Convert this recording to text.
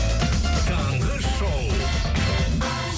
таңғы шоу